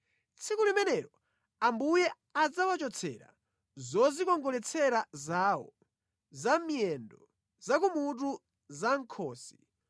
Tsiku limenelo Ambuye adzawachotsera zodzikongoletsera zawo: za mʼmiyendo, za ku mutu za mʼkhosi,